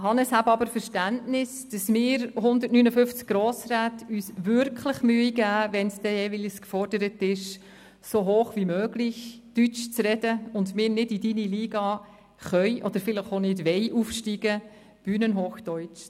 Haben Sie aber Verständnis, dass wir 159 Grossräte uns wirklich Mühe geben, wenn jeweils gefordert ist, «so hoch wie möglich» deutsch zu sprechen, und dass wir nicht in Ihre Liga aufsteigen können oder vielleicht nicht wollen und kein Bühnenhochdeutsch verwenden.